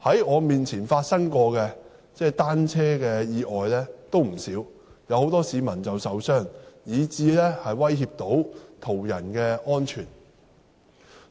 我曾目睹不少單車意外，有很多市民受傷，亦威脅到途人的安全。